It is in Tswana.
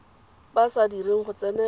ba sa direng go tsenela